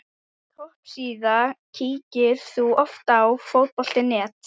Topp síða Kíkir þú oft á Fótbolti.net?